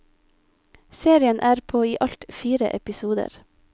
Serien er på i alt fire episoder.